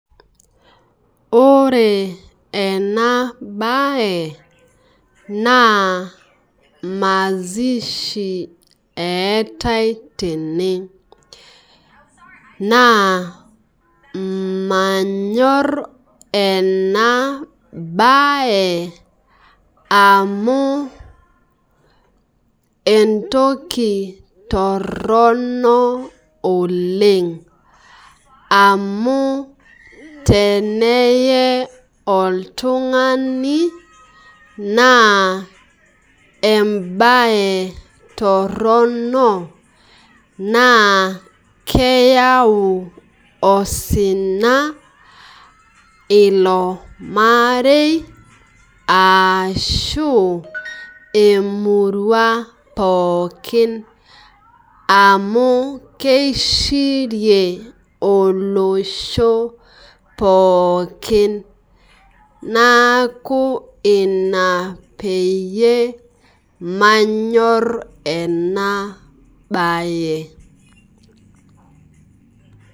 Ore enabae naa maishi eetae tene naa manyor enabae amu entoki torono oleng amu teneye oltungani naa embae torono naa keyau osina ilo marei ashu emurua pookin amu kieshirie olosho pookin naaku ina peyie manyor enabae .